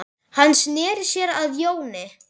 Hann sneri sér að Jóni.